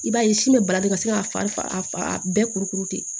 I b'a ye sin bɛ baraden ka se ka fa bɛɛ kurukuru ten